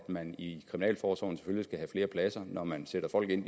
man i kriminalforsorgen selvfølgelig skal have flere pladser når man sætter folk ind